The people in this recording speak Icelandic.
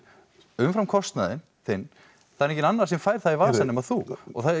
umfram kostnaðinn þinn það er enginn annar sem fær það í vasann nema þú og